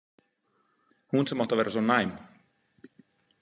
Hún sem átti að vera svo næm.